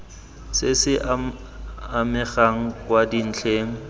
se se amegang kwa dintlheng